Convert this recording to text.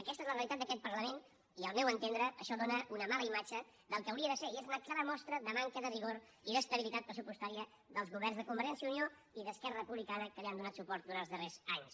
aquesta és la realitat d’aquest parlament i al meu entendre això dóna una mala imatge del que hauria de ser i és una clara mostra de manca de rigor i d’estabilitat pressupostària dels governs de convergència i unió i d’esquerra republicana que li han donat suport durant els darrers anys